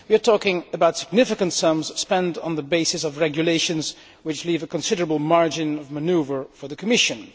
We are talking about significant sums spent on the basis of regulations which leave a considerable margin of manoeuvre for the Commission.